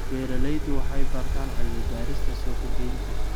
Beeraleydu waxay bartaan cilmi-baarista suuq-geynta.